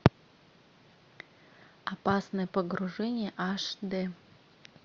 опасное погружение аш д